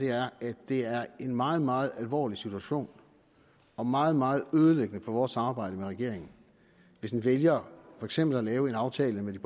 er at det er en meget meget alvorlig situation og meget meget ødelæggende for vores samarbejde med regeringen hvis den vælger for eksempel at lave en aftale med de